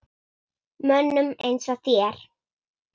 Mönnum eins og þér?